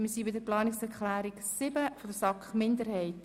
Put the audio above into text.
Wir kommen zur Gesamtabstimmung über den Bericht.